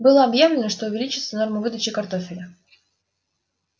было объявлено что увеличится норма выдачи картофеля